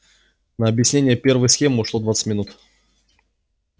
на объяснение первой схемы ушло двадцать минут